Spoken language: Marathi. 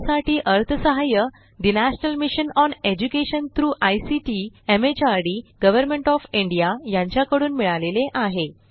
यासाठी अर्थसहाय्य national mission on education through ICT MHRD government of India यांच्याकडून मिळालेले आहे